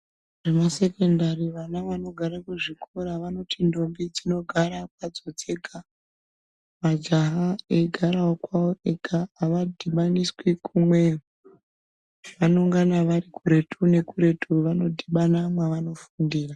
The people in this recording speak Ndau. Vana vesekondari vana vanogara kuzvikora vanoti ndombi dzinogara dzega majaha eigarawo kwawowo ega avadhibaniswi kumwe zvavanongana vari kuretu vanidhubana mavanofundira.